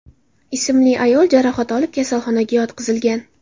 ismli ayol jarohat olib kasalxonaga yotqizilgan.